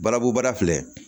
Balabu bara filɛ